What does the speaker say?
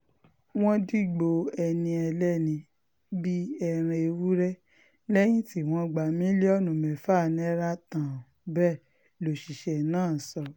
wọ́n dìgbò ẹni ẹlẹ́ni bíi ẹran ewúrẹ́ lẹ́yìn tí wọ́n ti gba mílíọ̀nù mẹ́fà náírà tán bẹ́ẹ̀ lọ́ṣiṣẹ́ náà sọ